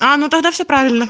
а ну тогда всё правильно